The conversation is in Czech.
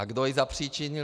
A kdo ji zapříčinil?